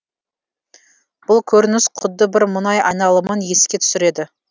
бұл көрініс құдды бір мұнай айналымын еске түсіреді